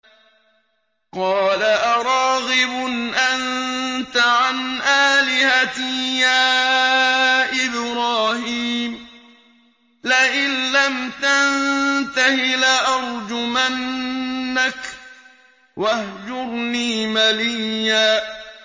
قَالَ أَرَاغِبٌ أَنتَ عَنْ آلِهَتِي يَا إِبْرَاهِيمُ ۖ لَئِن لَّمْ تَنتَهِ لَأَرْجُمَنَّكَ ۖ وَاهْجُرْنِي مَلِيًّا